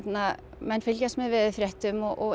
menn fylgjast með veðurfréttum og